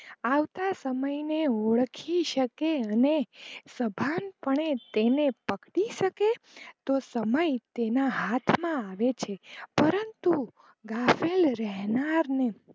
આવતા સમય ને ઓળખી શકે અને સભાન પણે ગાફેલ તેને પકડી શકે, તો સમય તેના હાથ માં રહે છે પરંતુ ગાફેલ રેહનાર ને